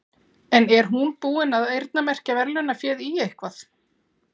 En er hún búin að eyrnamerkja verðlaunaféð í eitthvað?